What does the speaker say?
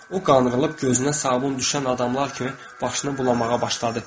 O qanrılıb gözünə sabun düşən adamlar kimi başını bulamağa başladı.